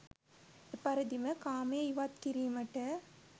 එපරිදිම කාමය ඉවත් කිරීමට